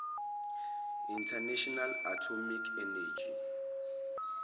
international atomic energy